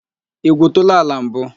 I gwuutula ala mbu?